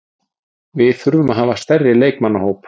Við þurfum að hafa stærri leikmannahóp.